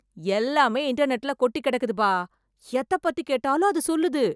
எல்லாமே இன்டர்நெட்ல கொட்டி கிடக்குது பா! எத பத்தி கேட்டாலும் அது சொல்லுது.